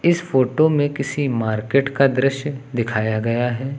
इस फोटो में किसी मार्केट का दृश्य दिखाया गया है।